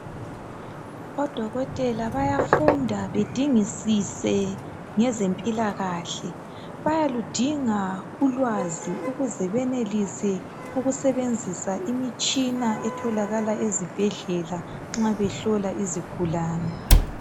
Odokotela bayafunda bedingisise ngezemphilakahle. Bayaludinga ulwazi ukuze benelise ukusebenzisa imitshina etholakala ezihlahleni nxa behlola izigulane.